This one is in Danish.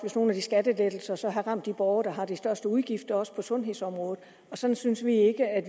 hvis nogle af de skattelettelser så havde ramt de borgere der havde de største udgifter også på sundhedsområdet sådan synes vi ikke at